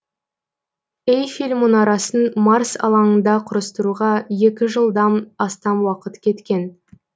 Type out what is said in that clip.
эйфель мұнарасын марс алаңында құрастыруға екі жылдан астам уақыт кеткен